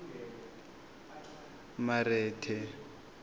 marete